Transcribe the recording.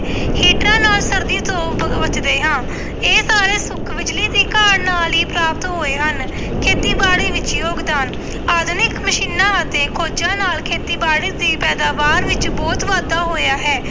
ਹੀਟਰਾਂ ਨਾਲ ਸਰਦੀ ਤੋਂ ਬ ਬਚਦੇ ਹਾਂ, ਇਹ ਸਾਰੇ ਸੁੱਖ ਬਿਜ਼ਲੀ ਦੀ ਕਾਢ ਨਾਲ ਹੀ ਪ੍ਰਾਪਤ ਹੋਏ ਹਨ, ਖੇਤੀਬਾੜੀ ਵਿੱਚ ਯੋਗਦਾਨ ਆਧੁਨਿਕ ਮਸ਼ੀਨਾਂ ਅਤੇ ਖੋਜ਼ਾਂ ਨਾਲ ਖੇਤੀਬਾੜੀ ਦੀ ਪੈਦਾਵਾਰ ਵਿੱਚ ਬਹੁਤ ਵਾਧਾ ਹੋਇਆ ਹੈ।